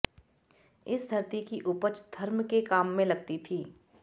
इस धरती की उपज धर्म के काम में लगती थी